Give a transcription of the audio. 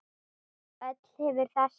Öll hefur þessi